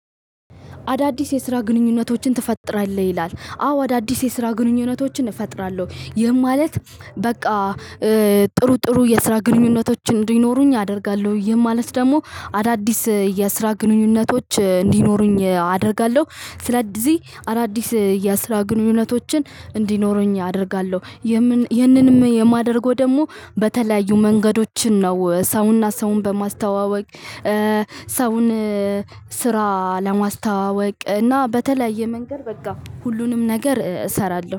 አዳዲስ የስራ ግንኙነቶችን ትፈጥራለህ ይላል አዎ አዳዲስ የስራ ግንኙነቶችን እፈጥራለሁ ይህም ማለት በቃ ጥሩ ጥሩ የስራ ግንኙነቶችን እንዲኖሩኝ አደርጋለሁ። ይህ ማለት ደግሞ አዳዲስ የስራ ግንኙነቶች እንዲኖሩኝ አደርጋለሁ። ስለዚህ አዳዲስ የስራ ግንኙነቶችን እንዲኖረኝ አደርጋለሁ። የምን ይህንንም የማደርገው ደግሞ በተለያዩ መንገዶችን ነው ሰውና ሰውን በማስተዋወቅ ሰውን ስራ ለማስተዋወቅ በተለያየ መንገድ በቃ ሁሉንም ነገር እሰራለው።